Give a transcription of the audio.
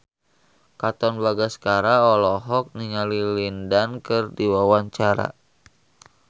Katon Bagaskara olohok ningali Lin Dan keur diwawancara